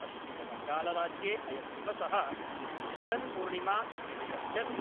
पश्चिमबङ्गालराज्ये अयं दिवसः झुलन् पूर्णिमा इत्यपि कथ्यते।